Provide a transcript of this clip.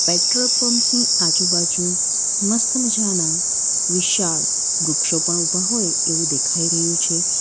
Petrol pump ની આજુબાજુ મસ્ત મજાના વિશાલ વૃક્ષો પણ ઉભા હોય એવું દેખાઈ રહ્યું છે.